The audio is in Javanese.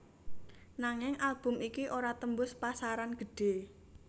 Nanging album iki ora tembus pasaran gedhe